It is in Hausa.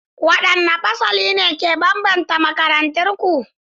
What distinguishing or peculiar features distinguish your school?